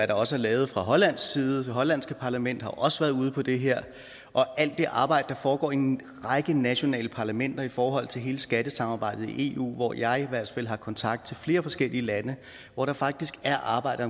der også er lavet fra hollands side det hollandske parlament har også været ude med det her og alt det arbejde der foregår i en række nationale parlamenter i forhold til hele skattesamarbejdet i eu hvor jeg i hvert fald har kontakt til flere forskellige lande hvor der faktisk er arbejde